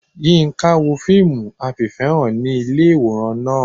yinka wo fiimú afíféhán ni ilé iworán naa.